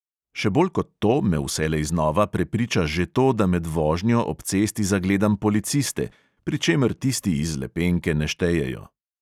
Še bolj kot to me vselej znova prepriča že to, da med vožnjo ob cesti zagledam policiste – pri čemer tisti iz lepenke ne štejejo.